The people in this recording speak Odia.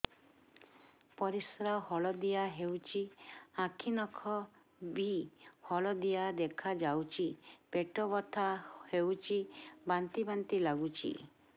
ପରିସ୍ରା ହଳଦିଆ ହେଉଛି ଆଖି ନଖ ବି ହଳଦିଆ ଦେଖାଯାଉଛି ପେଟ ବଥା ହେଉଛି ବାନ୍ତି ବାନ୍ତି ଲାଗୁଛି